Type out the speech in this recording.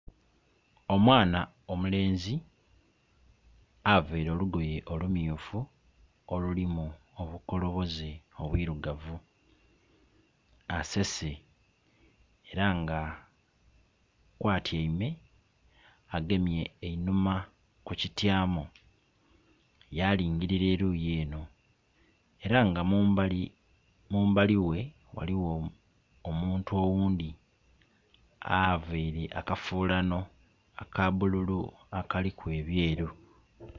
Omwana omulenzi avaire olugoye olumyufu olulimu obukoloboze obwirugavu asese era nga kwa tyaime agemye einhuma ku kityamo yalingilira eruyi eno. Era nga mumbali we ghaligho omuntu oghundhi avaire akafulano akabululu akaliku ebyeru.